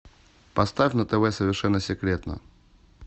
поставь на тв совершенно секретно